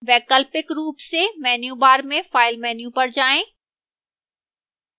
वैकल्पिक रूप से menu bar में file menu पर जाएं